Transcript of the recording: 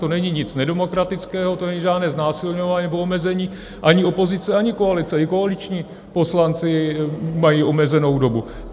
To není nic nedemokratického, to není žádné znásilňování nebo omezení ani opozice, ani koalice, i koaliční poslanci mají omezenou dobu.